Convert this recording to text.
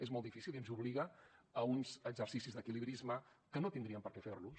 és molt difícil i ens obliga a uns exercicis d’equilibrisme que no tindríem per què fer los